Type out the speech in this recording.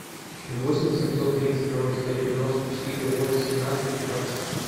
восемь семьсот тридцать ноль сто девяносто четыре восемнадцать пятнадцать